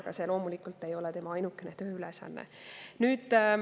Aga see loomulikult ei ole tema ainukene tööülesanne.